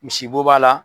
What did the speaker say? Misibo b'a la